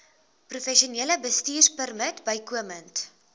professionele bestuurpermit bykomend